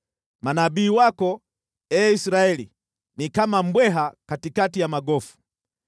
Manabii wako, ee Israeli, ni kama mbweha katikati ya magofu.